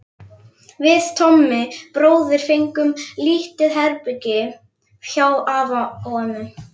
Við Tommi bróðir fengum lítið herbergi hjá afa og ömmu.